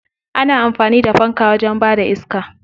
Ana amfani da fanka wajen bada iska.